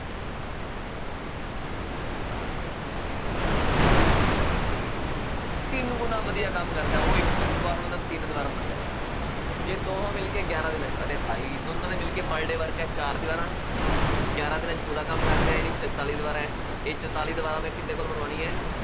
ਤਿੰਨ ਗੁਣਾ ਵਧੀਆ ਕੰਮ ਕਰਦਾ, ਉਹ ਇੱਕ ਦੀਵਾਰ ਬਣਾਉਂਦਾ, ਤਿੰਨ ਦੀਵਾਰਾਂ ਬਣਾਉਂਦਾ, ਜੇ ਦੋਹੇ ਮਿਲਕੇ ਗਿਆਰਾ ਦਿਨਾਂ ਚ ਅਰੇ ਭਾਈ ਦੋਨਾ ਦੇ ਮਿਲਕੇ per day ਹੈ ਚਾਰ ਦੀਵਾਰਾਂ, ਗਿਆਰਾਂ ਦਿਨਾਂ ਚ ਪੂਰਾ ਕੰਮ ਕਰਦੇ ਆਏਂ ਨੀ ਚੁਤਾਲੀ ਦੀਵਾਰਾਂ ਐ, ਇਹ ਚੁਤਾਲੀ ਦੀਵਾਰਾਂ ਮੈਂ ਕਿਹਦੇ ਕੋਲੋਂ ਬਣਵਾਉਣੀਆਂ